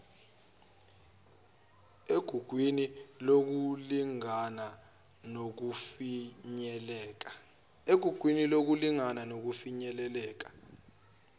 egugwini lokulingana nokufinyeleleka